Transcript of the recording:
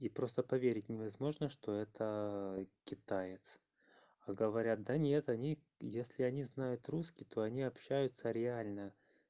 и просто поверить невозможно что это китаец а говорят да нет они если они знают русский то они общаются реально